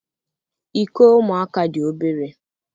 Iko ụmụaka dị obere.